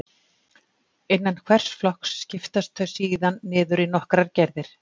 Innan hvers flokks skiptast þau síðan niður í nokkrar gerðir.